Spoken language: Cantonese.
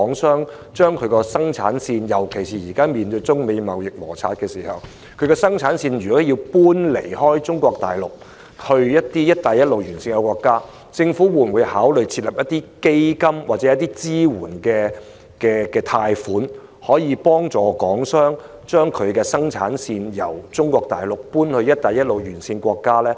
尤其是在現時面對中美貿易摩擦的情況下，如港商有意將生產線遷離中國大陸，轉移至"一帶一路"沿線國家，政府會否考慮設立基金或提供支援貸款，協助港商將生產線從中國大陸遷移到"一帶一路"沿線國家？